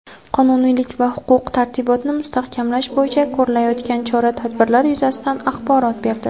qonuniylik va huquq-tartibotni mustahkamlash boʼyicha koʼrilayotgan chora-tadbirlar yuzasidan axborot berdi.